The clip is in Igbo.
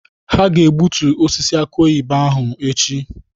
Ha ga-egbutu osisi aki oyibo ahụ echi.